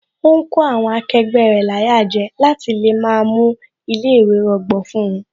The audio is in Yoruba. Ó ń kó àwọn akẹgbẹ́ rẹ̀ láyà jẹ láti lè má mú ilé ìwé rọgbọ fún wón